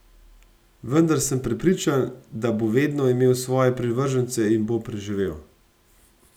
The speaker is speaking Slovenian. Vendar sem prepričan, da bo vedno imel svoje privržence in bo preživel.